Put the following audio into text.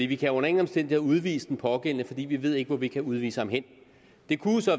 vi kan under ingen omstændigheder udvise den pågældende for vi ved ikke hvor vi kan udvise ham hen det kunne